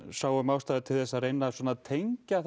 sáum ástæðu til að reyna tengja